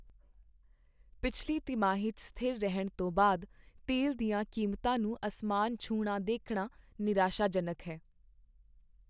ਪਿਛਲੀ ਤਿਮਾਹੀ 'ਚ ਸਥਿਰ ਰਹਿਣ ਤੋਂ ਬਾਅਦ ਤੇਲ ਦੀਆਂ ਕੀਮਤਾਂ ਨੂੰ ਅਸਮਾਨ ਛੂਹਣਾ ਦੇਖਣਾ ਨਿਰਾਸ਼ਾਜਨਕ ਹੈ।